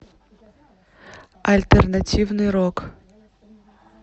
альтернативный рок